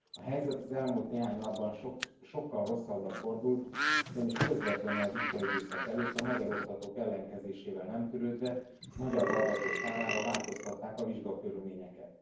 A helyzet az elmúlt néhány napban sokkal rosszabbra fordult, ugyanis közvetlenül a vizsgaidőszak előtt a magyar oktatók ellenkezésével nem törődve magyar hallgatók kárára változtatták a vizsgakörülményeket.